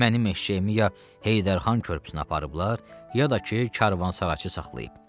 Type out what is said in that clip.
Mənim eşşəyimi ya Heydər xan körpüsünə aparıblar, ya da ki, karvansaraçı saxlayıb.